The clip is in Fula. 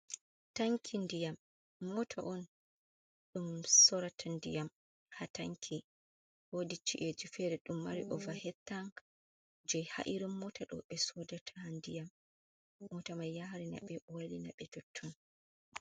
Tanki ndiyam mota on ɗum sorata ndiyam ha tanki wodicci’eji fere ɗum mari over hettang je ha’irin mota ɗo ɓe sodata ndiyam mota mai yarina ɓe wailina ɓe totton.